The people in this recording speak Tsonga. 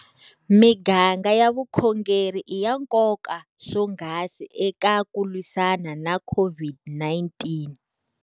Miganga ya vukhongeri i ya nkoka swonghasi eka ku lwisana na COVID-19.